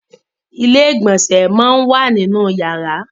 ilé-ìgbọ̀nsẹ̀ món wá nínú yàrá.